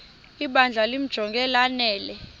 ibandla limjonge lanele